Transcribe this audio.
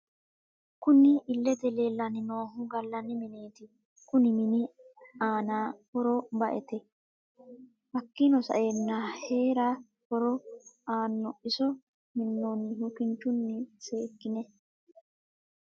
Kunni illete leelani noohu galani mineeti kunni mini aana horro ba'ete hakiino sa'eena heera horro aano iso minoonihu kinchuni seekine ...